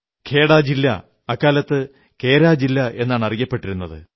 ഖേഡാ ജില്ല അക്കാലത്ത് കേരാ ജില്ല എന്നാണറിയപ്പെട്ടിരുന്നത്